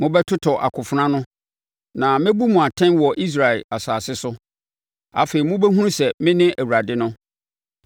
Mobɛtotɔ akofena ano, na mɛbu mu atɛn wɔ Israel asase so. Afei, mobɛhunu sɛ mene Awurade no.